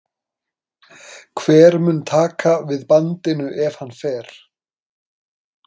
Hver mun taka við bandinu ef hann fer?